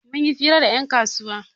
Mun yi fira da 'yan kasuwa